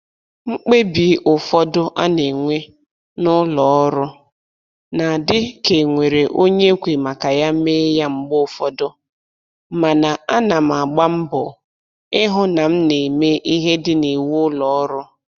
Mkpebi ụfọdụ a na-enwe n'ụlọ ọrụ na-adị ka e nwere onye e kwe maka ya mee ya mgbe ụfọdụ, mana ana m agba mbọ ịhụ na m na-eme ihe dị n'iwu ụlọ ọrụ